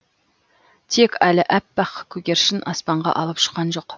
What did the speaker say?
тек әлі аппақ көгершін аспанға алып ұшқан жоқ